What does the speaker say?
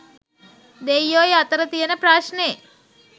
දෙයියොයි අතර තියෙන ප්‍රශ‍්නේ